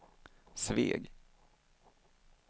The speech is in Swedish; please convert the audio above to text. Sveg